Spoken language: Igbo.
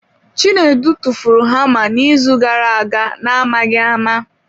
Chinedu tụfuru hama n'izu gara aga na-amaghị ama.